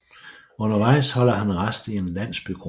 Undervejs holder han rast i en landsbykro